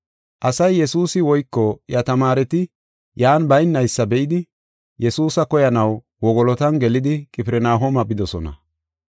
Asay Yesuusi woyko iya tamaareti yan baynaysa be7idi, Yesuusa koyanaw wogolotan gelidi Qifirnahooma bidosona.